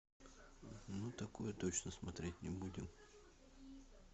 мы такое точно смотреть не будем